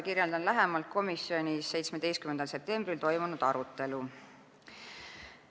Kirjeldan lähemalt komisjonis 17. septembril toimunud arutelu.